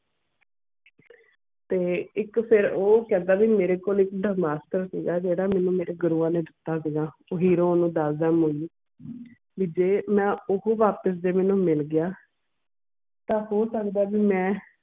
ਤੇ ਇੱਕ ਦਿਨ ਉਹ ਕਹਿੰਦਾ ਆ ਵੀ ਮੇਰੇ ਕੋਲ ਇੱਕ ਜਿਹੜਾ ਮੈਂਨੂੰ ਮੇਰੇ ਗੁਰੂਆਂ ਨੇ ਦਿੱਤਾ ਸੀਗਾ ਤੇ ਨੂੰ ਦਸਦਾ ਆ ਵੀ ਜੇ ਮੈਂ ਉਹ ਵਰਤ ਜੇ ਉਹ ਮੈਂਨੂੰ ਮਿਲ ਗਿਆ ਤਾਂ ਹੋ ਸਕਦਾ ਵੀ ਮੈਂ